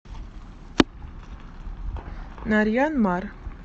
нарьян мар